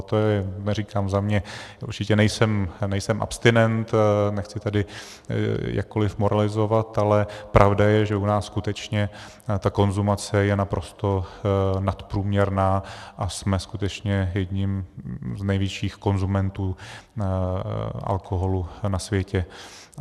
A to je, neříkám za mě, určitě nejsem abstinent, nechci tady jakkoliv moralizovat, ale pravda je, že u nás skutečně ta konzumace je naprosto nadprůměrná a jsme skutečně jedním z největších konzumentů alkoholu na světě.